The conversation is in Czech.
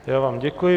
Já vám děkuji.